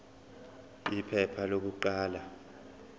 iphepha lokuqala p